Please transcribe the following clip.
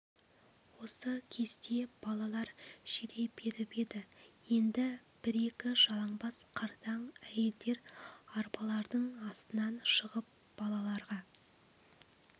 осы кезде балалар жүре беріп еді енді бір-екі жалаңбас қартаң әйелдер арбаларының астынан шығып балаларға